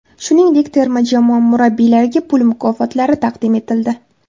Shuningdek, terma jamoa murabbiylariga pul mukofotlari taqdim etildi.